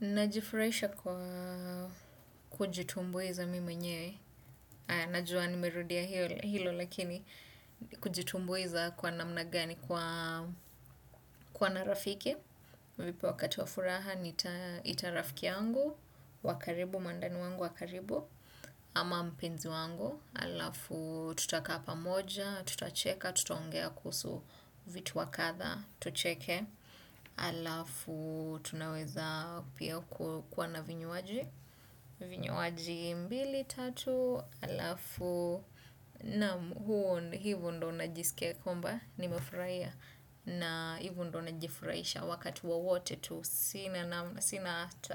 Najifurahisha kwa kujitumbuiza mimi mwenyewe, najua nimerudia hilo lakini kujitumbuiza kwa namna gani kwa kwa na rafiki hunipo wakati wa furaha nitarafiki yangu wa karibu, mwandani wangu wa karibu ama mpenzi wangu alafu tutakaa pamoja, tutacheka, tutaongea kuhusu vitu wakadha, tucheke, alafu tunaweza pia kuwa na vinywaji vinywaji mbili tatu alafu na huo hivo ndo najisikia kwamba nimefurahia na hivu ndo najifurahisha wakati wowote tu